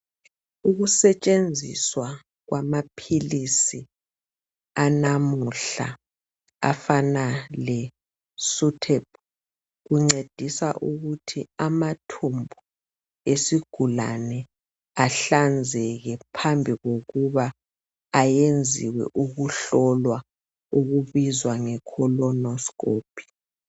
Ukusetshenziswa kwamaphilisi anamuhla afana le suthebhu kuncedisa ukuthi amathumbu esigulane ahlanzeke phambi kokuba ayenziwe ukuhlolwa okubizwa ngekholonosikophi.